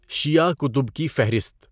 شیعہ کتب کی فہرست